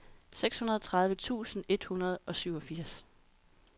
seksogtredive tusind et hundrede og syvogfirs